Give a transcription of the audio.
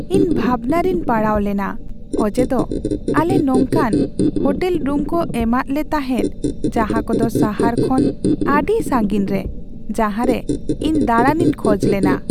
ᱤᱧ ᱵᱷᱟᱵᱽᱱᱟ ᱨᱮᱧ ᱯᱟᱲᱟᱣᱞᱮᱱᱟ ᱚᱡᱮᱫᱚ ᱟᱞᱮ ᱱᱚᱝᱠᱟᱱ ᱦᱳᱴᱮᱞ ᱨᱩᱢ ᱠᱚ ᱮᱢᱟᱫᱞᱮ ᱛᱟᱦᱮᱸᱫ ᱡᱟᱦᱟᱸ ᱠᱚᱫᱚ ᱥᱟᱦᱟᱨ ᱠᱷᱚᱱ ᱟᱹᱰᱤ ᱥᱟᱺᱜᱤᱧ ᱨᱮ ᱡᱟᱦᱟᱸᱨᱮ ᱤᱧ ᱫᱟᱬᱟᱱ ᱤᱧ ᱠᱷᱚᱡ ᱞᱮᱱᱟ ᱾